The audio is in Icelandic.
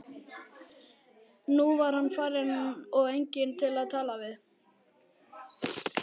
Nú var hann farinn og enginn til að tala við.